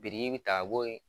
Biriki bi taa bɔ ye